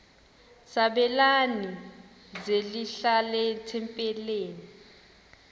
sabelani zenihlal etempileni